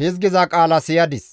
hizgiza qaala siyadis,